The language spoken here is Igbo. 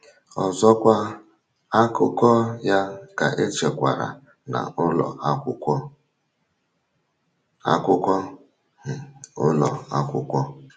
Ọzọkwa, akụkọ ya ka echekwara na ụlọ akwụkwọ akwụkwọ um ụlọ akwụkwọ.